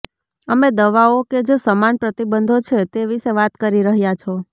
અમે દવાઓ કે જે સમાન પ્રતિબંધો છે તે વિશે વાત કરી રહ્યા છો